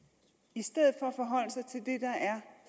i stedet